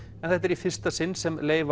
en þetta er í fyrsta sinn sem leifar